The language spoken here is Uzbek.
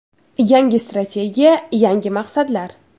Yangi strategiya – yangi maqsadlar”.